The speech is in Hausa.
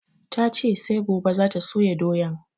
Ta ce sai gobe za ta soya doyan